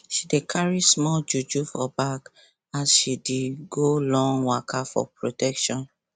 she dey carry small juju for bag as she dey go long waka for protection